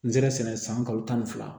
Nzɛrɛn sɛnɛ san kalo tan ni fila